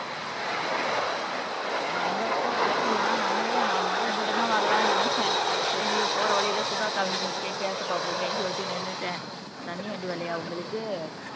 கங்கா அக்கா அப்படியா நல்லவேளை நான் முத உங்கிட்டதான் வரலான்னு நினைச்சேன் சரி போற வழியில சுதா அக்கா வீடு இருக்கே கேட்டுப் பார்ப்போமேன்னு சொல்லிட்டு நின்னுட்டேன் தண்ணி வண்டி வரலையா உங்களுக்கு